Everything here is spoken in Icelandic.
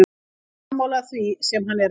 Ég er sammála því sem hann er að gera.